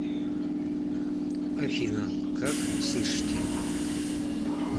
афина как слышите